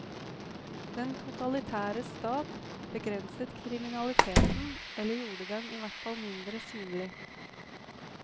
Den totalitære stat begrenset kriminaliteten, eller gjorde den i hvert fall mindre synlig.